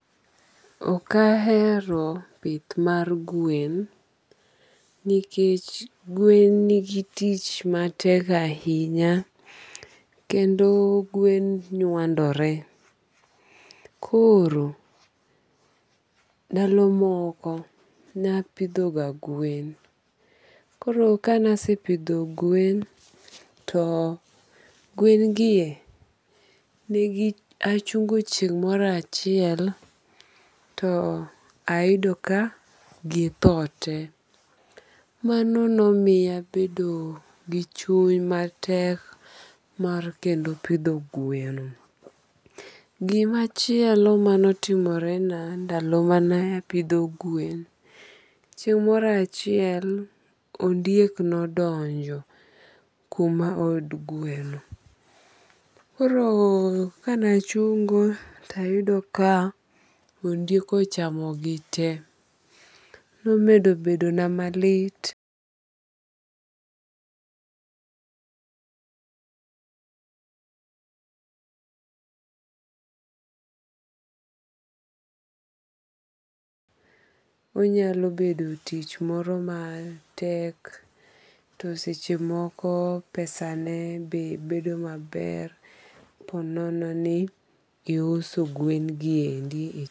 Ok ahero pith mar gwen nikech gwen nigi tich matek ahinya. Kendo gwen nywandore. Koro ndalo moko napidho ga gwen. Koro kanasepidho gwen to gwen gie nigi achungo chieng' moro achiel to ayudo ka githo te. Mano nomiya abedo gi chuny matek mar kendo pidho gweno. Gimachielo manotimore na ndalo mane apidho gwen, chieng' moro achiel ondiek nodonjo kuma od gweno. Koro kanachungo tayudo ka ondiek ochamo gi te. Koro nomedo bedo na malit [paise] onyalo bedo tich moro matek to seche moko pesane be bedo maber po nono ni iuso gwen gi endi.